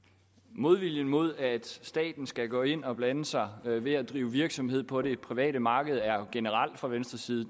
modviljen mod at staten skal gå ind og blande sig ved at drive virksomhed på det private marked er generel fra venstres side